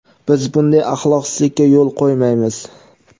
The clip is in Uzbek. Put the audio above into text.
biz bunday axloqsizlika yo‘l qo‘ymaymiz.